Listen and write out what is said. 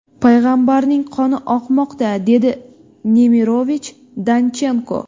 payg‘ambarning qoni oqmoqda”, dedi Nemirovich-Danchenko.